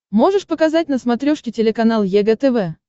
можешь показать на смотрешке телеканал егэ тв